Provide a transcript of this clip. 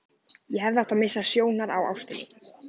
Ég hefði átt að missa sjónar á ástinni.